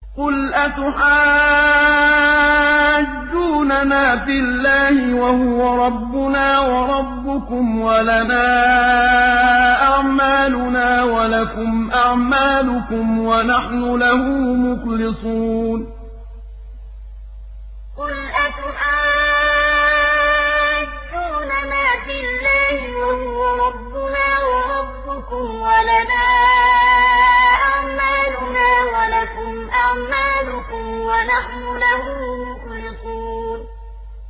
قُلْ أَتُحَاجُّونَنَا فِي اللَّهِ وَهُوَ رَبُّنَا وَرَبُّكُمْ وَلَنَا أَعْمَالُنَا وَلَكُمْ أَعْمَالُكُمْ وَنَحْنُ لَهُ مُخْلِصُونَ قُلْ أَتُحَاجُّونَنَا فِي اللَّهِ وَهُوَ رَبُّنَا وَرَبُّكُمْ وَلَنَا أَعْمَالُنَا وَلَكُمْ أَعْمَالُكُمْ وَنَحْنُ لَهُ مُخْلِصُونَ